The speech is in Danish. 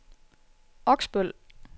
Oksbøl